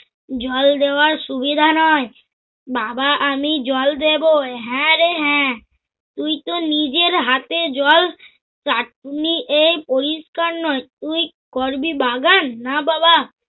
জল দেওয়ার সুবিধা নয়! বাবা আমি জল দেব। হ্যা রে হ্যা, তুই তো নিজের হাতে জল চাটনি এই পরিষ্কার নয় তুই করবি বাগান? না বাবা